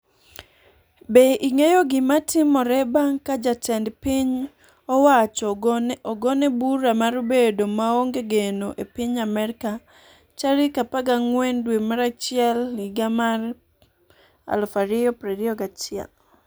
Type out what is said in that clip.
Be ing'eyo gimatimore bang' ka jatend piny owacho ogone bura mar bedo maonge geno e piny Amerka tarik 14 dwe mar achiel higa mar 2021?